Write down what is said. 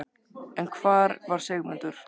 En hvar var Sigmundur?